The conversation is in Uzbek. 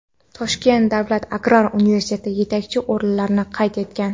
Toshkent davlat agrar universiteti yetakchi o‘rinlarni qayd etgan.